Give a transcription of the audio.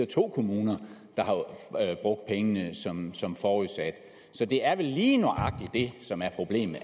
to kommuner der har brugt pengene som som forudsat så det er vel lige nøjagtig det som er problemet